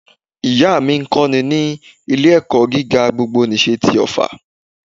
Ìyá à mí ń kọ́ni ní ilé ẹ̀kọ́ gíga gbogbo nìse ti òffà